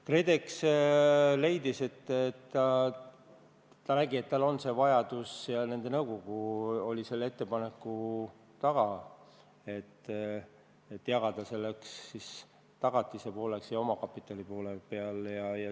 KredEx leidis ja nägi, et tal on see vajadus, ning nende nõukogu oli selle ettepanku taga, et jagada tagatise pooleks ja omakapitali pooleks.